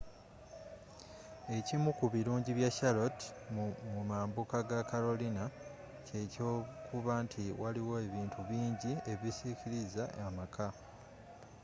ekimu ku bilungi bya charlotte mumambuka ga carolina kye kyokuba nti waliwo ebintu bingi ebisikiliza amaka